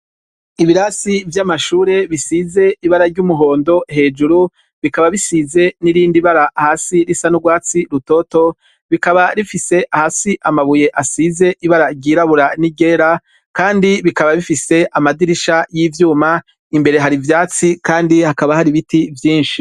Ibirasi vy'amashure bisize ibara ry'umuhondo, hejuru bikaba bisize n'irindi bara hasi risa n'urwatsi rutoto, bikaba bifise hasi amabuye asize ibara ryirabura n'iryera, kandi bikaba bifise amadirisha y'ivyuma, imbere hari ivyatsi, kandi hakaba hari ibiti vyinshi.